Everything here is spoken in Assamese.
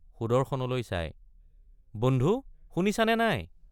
সুদৰ্শনলৈ চাই বন্ধু শুনিছা নে নাই?